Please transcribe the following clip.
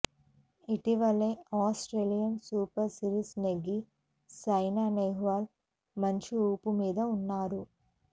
ఇటీవలే Australian super series నెగ్గి సైనా నెహ్వాల్ మంచి ఊపు మీద ఉన్నారు